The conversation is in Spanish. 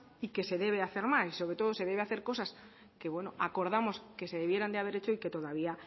y que se debe hacer más y sobre todo se deben hacer cosas que acordamos que se debieran haber hecho y que todavía